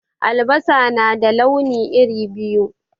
Albasa na da launi iri biyu.